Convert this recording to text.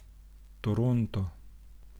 Toronto.